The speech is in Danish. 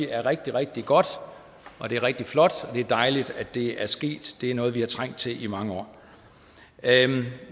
er rigtig rigtig godt det er rigtig flot og det er dejligt at det er sket det er noget vi har trængt til i mange år